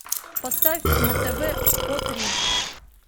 поставь на тв о три